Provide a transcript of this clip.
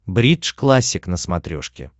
бридж классик на смотрешке